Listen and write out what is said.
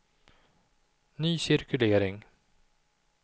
ny cirkulering